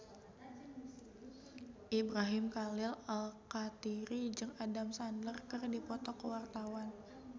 Ibrahim Khalil Alkatiri jeung Adam Sandler keur dipoto ku wartawan